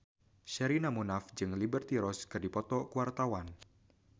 Sherina Munaf jeung Liberty Ross keur dipoto ku wartawan